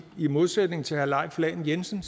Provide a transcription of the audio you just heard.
i modsætning til herre leif lahn jensen